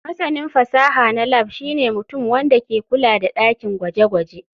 Masanin fasaha na lab shine mutum wanda ke kula da dakin gwaje-gwaje.